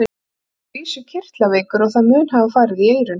Þá var ég að vísu kirtlaveikur og það mun hafa farið í eyrun.